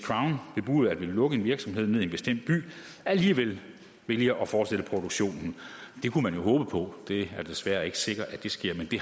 bebuder at ville lukke en virksomhed ned i en bestemt by alligevel vælger at fortsætte produktionen det kunne man jo håbe på det er desværre ikke sikkert at det sker men det